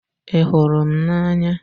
Ị hụrụ m n'anya?